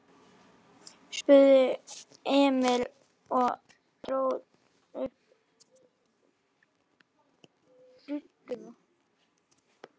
spurði Emil og dró upp budduna.